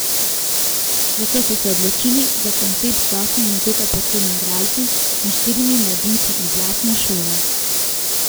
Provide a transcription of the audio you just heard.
Zato smo se odločili za koncept z osmimi dokaj poceni igralci in štirimi mladinci iz lastne šole.